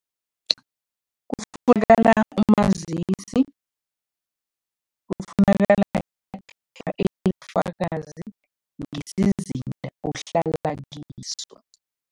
Kufunakala umazisi, kufunakala elibufakazi ngesizinda ohlala kiso.